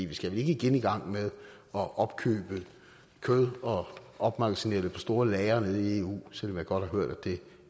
vi skal vel ikke igen i gang med at opkøbe kød og opmagasinere det på store lagre nede i eu selv om jeg godt har hørt at det